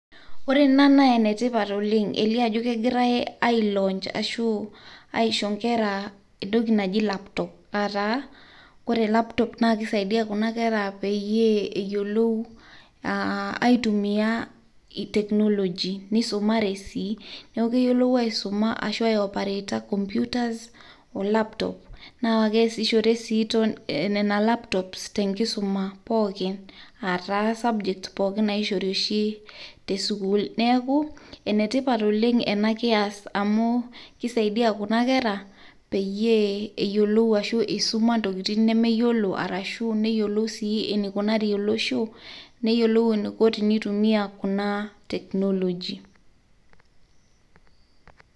Ore ena naa enetipat oleng' eilio ajo kegirai ai[cslaunch ashuu aicho inkerra entoki najii laptop aataa kore laptop naa keisaidiya kuna kerra peyie eyolou aitumiya technoloy neisumare sii naaku keyolou aisuma ashu aioporeeta computers oo laptop naa keasishore sii nena laptops tenkisuma pookin aata subjects pookin naishori oshii te sukuul neaku enetipat oleng' ena kias amuu keisaidia kuna kerra peyie ashuu eisuma ntokitin nemeyiolo arashu neyiolou sii neikunari olosho neyiolou eneiko teneitumia kunaa technoloy